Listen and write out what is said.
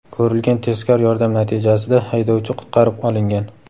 Ko‘rilgan tezkor yordam natijasida haydovchi qutqarib olingan.